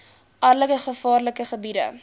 alle gevaarlike gebiede